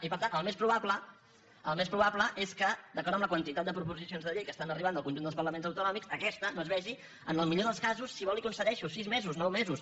i per tant el més probable el més proba·ble és que d’acord amb la quantitat de proposicions de llei que estan arribant del conjunt dels parlaments autonòmics aquesta no es vegi en el millor dels casos si vol li ho concedeixo sis mesos nou mesos